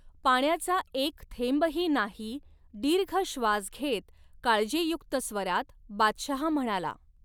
पाण्याचा एक थेंबही नाही दीर्घ श्वास घेत काळजीयुक्त स्वरात बादशहा म्हणाला.